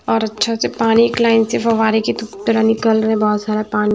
और अच्छा से पानी एक लाइन से फव्वारे की तो तरह निकल रहे हैं बहुत सारा पानी--